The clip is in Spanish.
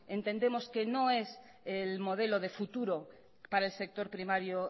entendemos que no es el modelo de futuro para el sector primario